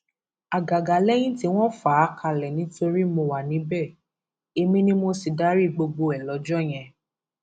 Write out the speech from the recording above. àgàgà lẹyìn tí wọn fà á kalẹ nítorí mo wà níbẹ èmi ni mo sì darí gbogbo ẹ lọjọ yẹn